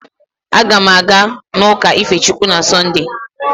Aga m aga n'ụka ife Chukwu na Sọnde